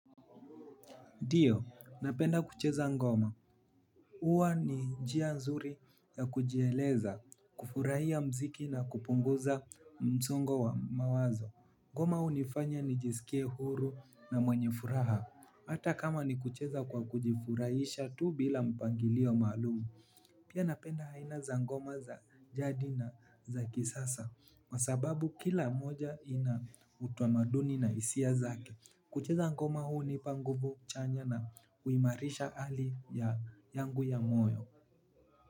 Ndiyo, napenda kucheza ngoma. Huwa ni njia nzuri ya kujieleza, kufurahia muziki na kupunguza msongo wa mawazo. Ngoma hunifanya nijisikie huru na mwenye furaha. Hata kama ni kucheza kwa kujifurahisha tu bila mpangilio maalumu. Pia napenda aina za ngoma za jadi na za kisasa. Kwa sababu kila moja ina utamaduni na hisia zake. Kucheza ngoma hunipa nguvu chanya na huimarisha hali yangu ya moyo.